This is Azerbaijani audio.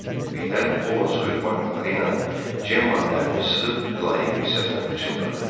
Birdən Ovod soyuq barmaqları ilə Cemmanının əlini sıxıb mülayim bir səslə pıçıldadı.